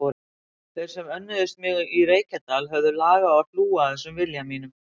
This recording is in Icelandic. Þeir sem önnuðust mig í Reykjadal höfðu lag á að hlúa að þessum vilja mínum.